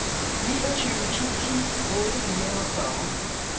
niogtyve tusind otte hundrede og fyrre